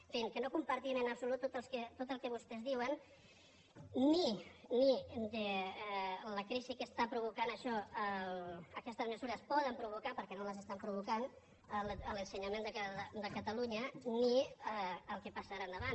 en fi que no compartim en absolut tot el que vostès diuen ni de la crisi que està provocant això aquestes mesures poden provocar perquè no l’estan provocant a l’ensenyament de catalunya ni el que passarà endavant